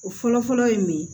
O fɔlɔfɔlɔ ye mun ye